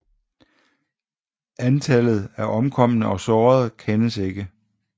Antallet af omkomne og sårede kendes ikke